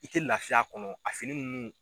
I tɛ lafiya a kɔnɔ a fini ninnu